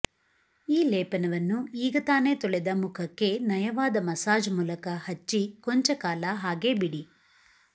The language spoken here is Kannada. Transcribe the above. ಈ ಲೇಪನವನ್ನು ಈಗತಾನೇ ತೊಳೆದ ಮುಖಕ್ಕೆ ನಯವಾದ ಮಸಾಜ್ ಮೂಲಕ ಹಚ್ಚಿ ಕೊಂಚ ಕಾಲ ಹಾಗೇ ಬಿಡಿ